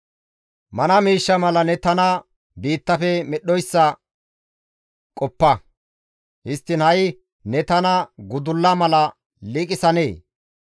Mana miishsha mala ne tana biittafe medhdhoyssa qoppa; histtiin ha7i ne tana gudulla mala liiqisanee?